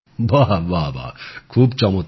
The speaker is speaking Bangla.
বাহ বাহ খুব চমৎকার